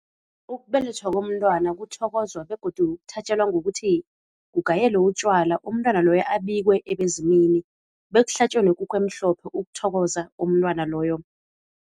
Ukubelethwa komntwana kuthokozwa begodu kuthatjelwa ngokuthi, kugayelwe utjwala umntwana loyo abikwe ebezimini bekuhlatjwe nekukhu emhlophe ukuthokoza umntwana loyo.